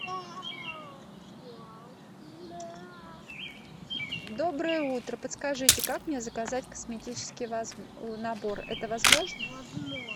доброе утро подскажите как мне заказать косметический набор это возможно